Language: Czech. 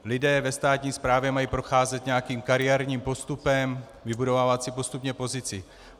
Lidé ve státní správě mají procházet nějakým kariérním postupem, vybudovávat si postupně pozici.